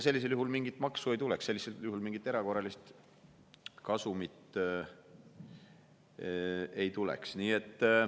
Sellisel juhul mingit maksu ei tuleks, mingit erakorralist kasumit ei tuleks.